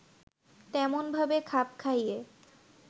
তেমনভাবে খাপ খাইয়ে